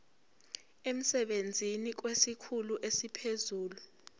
emsebenzini kwesikhulu esiphezulu